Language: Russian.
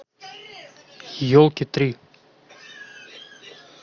елки три